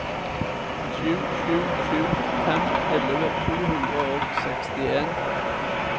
sju sju sju fem elleve to hundre og sekstien